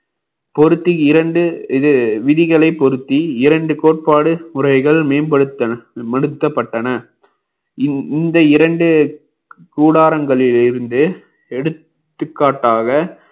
பொருத்தி இரண்டு இது விதிகளை பொருத்தி இரண்டு கோட்பாடு முறைகள் மேம்படுத்தப்பட்டன இந்த இந்த இரண்டு கூடாரங்களில் இருந்து எடுத்துக்காட்டாக